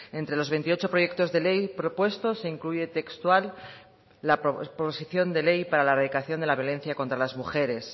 entre los veintiocho proyectos de ley propuestos se incluye textual la proposición de ley para la erradicación de la violencia contra las mujeres